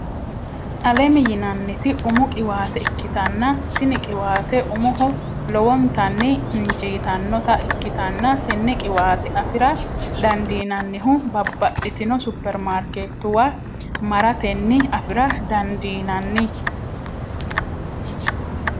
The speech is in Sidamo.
alem yinanniti umu qiwaate ikitanna tinni qiwaate umoho lowonnitanni injitanota ikitanna tenne qiwaate afira dandinannihu babaxitino superimariketuwa maratenni afira dandiinanni.